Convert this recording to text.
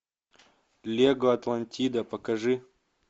лего атлантида покажи